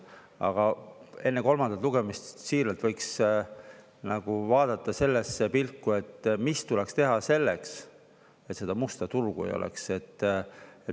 Aga enne kolmandat lugemist siiralt võiks vaadata sellesse pilku, mis tuleks teha selleks, et seda musta turgu ei oleks.